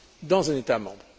dans un État membre.